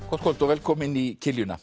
gott kvöld og velkomin í